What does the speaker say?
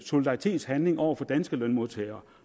solidaritetshandling over for danske lønmodtagere